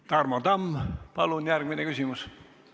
Tarmo Tamm, palun järgmine küsimus!